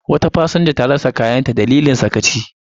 Wata fasinja ta rasa kayanta a dalilin sakacin masu lura da kaya.